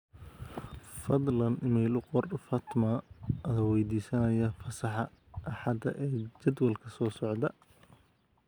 fadlan iimayl u qor fatma adoo waydiisanaya fasaxa axada ee jadwalka soo socda